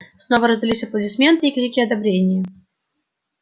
снова раздались аплодисменты и крики одобрения